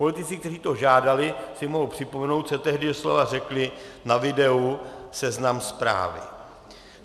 Politici, kteří to žádali, si mohou připomenout, co tehdy doslova řekli na videu Seznam Zprávy.